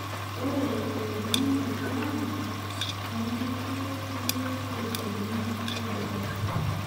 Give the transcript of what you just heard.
Ore elumunoto ang' eimaki nkulie kiteshenini eboo.